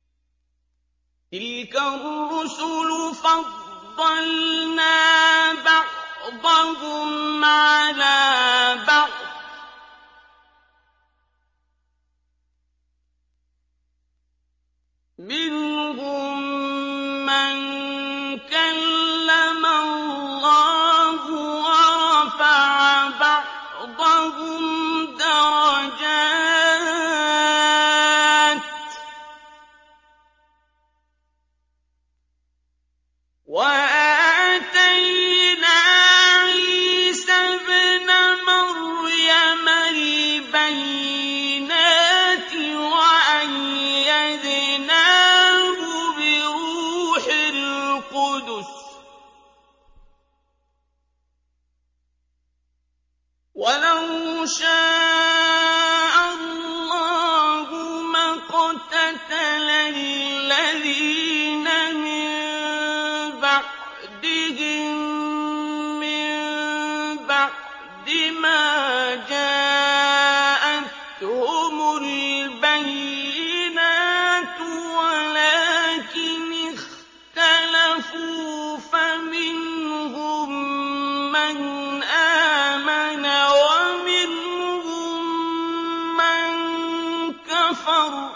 ۞ تِلْكَ الرُّسُلُ فَضَّلْنَا بَعْضَهُمْ عَلَىٰ بَعْضٍ ۘ مِّنْهُم مَّن كَلَّمَ اللَّهُ ۖ وَرَفَعَ بَعْضَهُمْ دَرَجَاتٍ ۚ وَآتَيْنَا عِيسَى ابْنَ مَرْيَمَ الْبَيِّنَاتِ وَأَيَّدْنَاهُ بِرُوحِ الْقُدُسِ ۗ وَلَوْ شَاءَ اللَّهُ مَا اقْتَتَلَ الَّذِينَ مِن بَعْدِهِم مِّن بَعْدِ مَا جَاءَتْهُمُ الْبَيِّنَاتُ وَلَٰكِنِ اخْتَلَفُوا فَمِنْهُم مَّنْ آمَنَ وَمِنْهُم مَّن كَفَرَ ۚ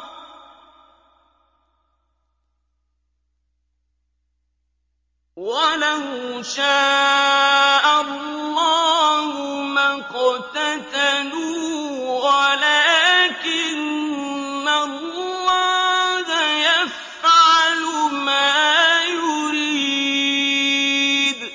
وَلَوْ شَاءَ اللَّهُ مَا اقْتَتَلُوا وَلَٰكِنَّ اللَّهَ يَفْعَلُ مَا يُرِيدُ